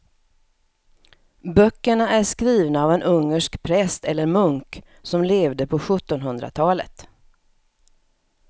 Böckerna är skrivna av en ungersk präst eller munk som levde på sjuttonhundratalet.